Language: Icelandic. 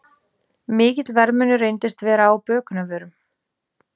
Mikill verðmunur reyndist vera á bökunarvörum